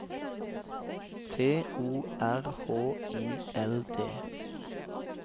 T O R H I L D